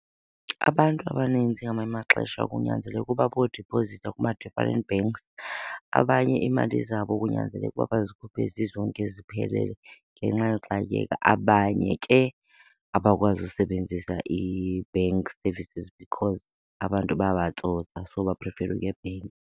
Abantu abaninzi ngamanye amaxesha kunyanzeleka uba bayodiphozitha kuma-different banks. Abanye iimali zabo kunyanzeleka ukuba bazikhuphe zizonke ziphelele ngenxa yoxakeka. Abanye ke abakwazi usebenzisa i-bank services because abantu bayabatsotsa, so baphrifera ukuya ebhenki.